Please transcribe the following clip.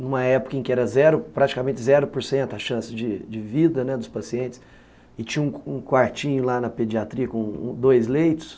numa época em que era praticamente zero por cento da chance de vida dos pacientes e tinha um quartinho lá na pediatria com dois leitos.